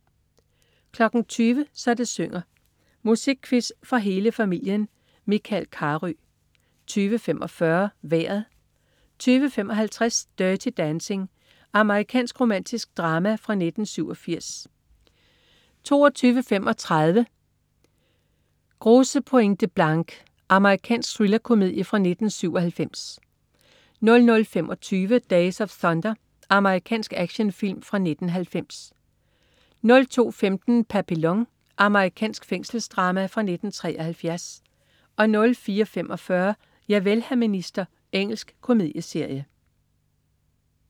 20.00 Så det synger. Musikquiz for hele familien. Michael Carøe 20.45 Vejret 20.55 Dirty Dancing. Amerikansk romantisk drama fra 1987 22.35 Grosse Pointe Blank. Amerikansk thrillerkomedie fra 1997 00.25 Days of Thunder. Amerikansk actionfilm fra 1990 02.15 Papillon. Amerikansk fængselsdrama fra 1973 04.45 Javel, hr. minister. Engelsk komedieserie